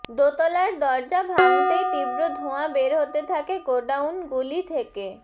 দোতলার দরজা ভাঙ্গতেই তীব্র ধোঁয়া বের হতে থাকে গোডাউনগুলি থেকে